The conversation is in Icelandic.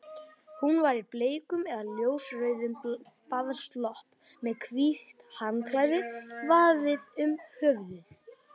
Hún var í bleikum eða ljósrauðum baðslopp með hvítt handklæði vafið um höfuðið.